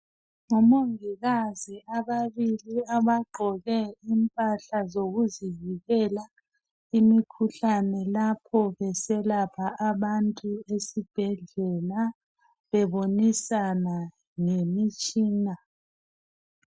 Ngomongikazi ababili abagqoke impahla zikuzivikela imikhuhlane lapho beselapha abantu esibhedlela, bebonisana ngemitshina.